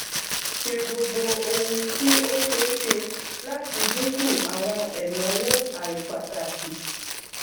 ṣe gbogbo ohun tí ó ṣe é ṣe láti dínkù àwọn ẹnáwó àìpàtàkì